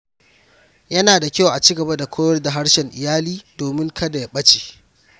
Yana da kyau a ci gaba da koyar da harshen iyali domin kada ya ɓace.